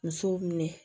Musow minɛ